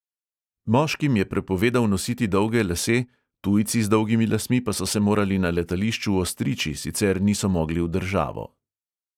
Moškim je prepovedal nositi dolge lase, tujci z dolgimi lasmi pa so se morali na letališču ostriči, sicer niso mogli v državo.